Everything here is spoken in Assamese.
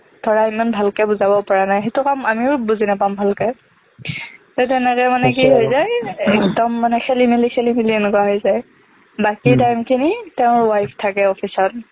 ধৰা সিমান ভালকে বুজাব পৰা নাই সেইটো কাম আমিও বুজি নাপাম ভালকে ত তেনেকে মানে কি একদম মানে খেলি মেলি চেলি মেলি এনেকুৱা হৈ যায় বাকী time খিনি তেওঁৰ wife থাকে office ত